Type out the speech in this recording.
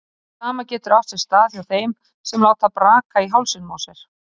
Það sama getur átt sér stað hjá þeim sem láta braka í hálsinum á sér.